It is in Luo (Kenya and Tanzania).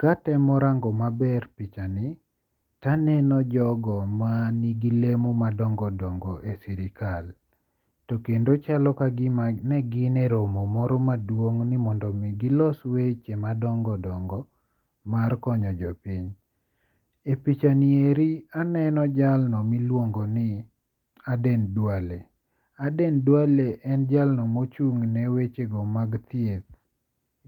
Katemo rango maber pichani to aneno jogo manigi lemo madongo dongo e sirkal. To kendo chalo kagima ne gin e romo moro maduong' ni mondo mi gilos weche madongo dongo mar konyo jo piny. E picha ni endi aneno jalno miluongo ni Aden Duale. Aden Duale en jalno mochung' ne weche go mag thieth